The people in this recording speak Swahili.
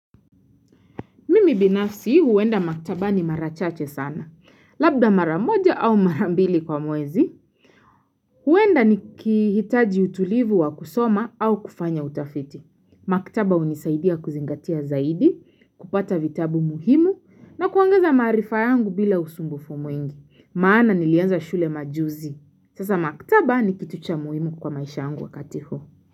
Mimi binafsi huwenda maktaba ni marachache sana. Labda maramoja au marambili kwa mwezi, huwenda nikihitaji utulivu wa kusoma au kufanya utafiti. Maktaba unisaidia kuzingatia zaidi, kupata vitabu muhimu na kuongeza maarifa yangu bila usumbufu mwingi. Maana nilianza shule majuzi. Sasa maktaba ni kitu cha muhimu kwa maisha yangu wakati huu.